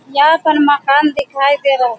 यहाँ पर मकान दिखाई दे रहा --